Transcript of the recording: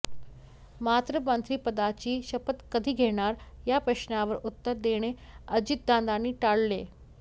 मात्र मंत्रिपदाची शपथ कधी घेणार या प्रश्नावर उत्तर देणे अजितदादांनी टाळले